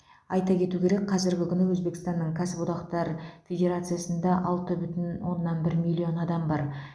айта кету керек қазіргі күні өзбекстанның кәсіподақтар федерациясында алты бүтін оннан бір миллион адам бар